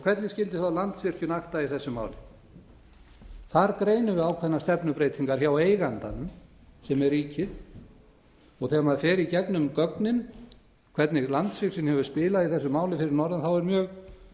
hvernig skyldi þá landsvirkjun aðra í þessu máli þar greinum við ákveðna stefnubreytingar hjá eigandanum sem er ríkið þegar maður fer í gegnum gögnin hvernig landsvirkjun hefur spilað í þessu máli fyrir norðan er mjög